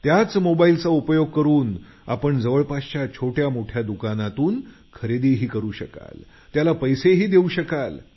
त्याच मोबाईलचा उपयोग करून आपण जवळपासच्या छोट्यामोठ्या दुकानांतून खरेदी करू शकाल